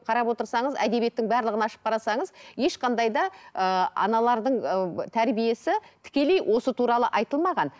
қарап отырсаңыз әдебиеттің барлығын ашып қарасаңыз ешқандай да ыыы аналардың ыыы тәрбиесі тікелей осы туралы айтылмаған